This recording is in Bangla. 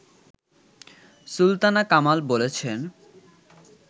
সুলতানা কামাল বলেছেন